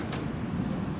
Düzdür, bu da.